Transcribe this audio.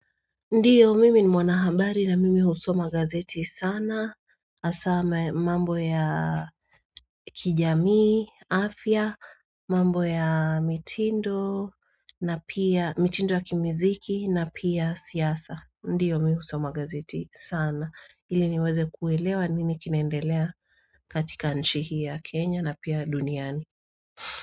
Ndiyo mimi ni mwanahambari na mimi husoma gazeti sana asame mambo ya kijamii afya mambo ya mitindo na pia mitindo ya kimiziki na pia siyasa ndiyo mimi husoma gazeti sana ili niweze kuwelewa nini kinandelea katika nchi hii ya kenya na pia duniani.